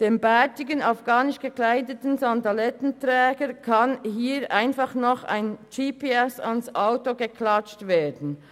Dem bärtigen afghanisch gekleideten Sandalettenträger kann hier einfach noch ein GPSTracker ans Auto geklatscht werden.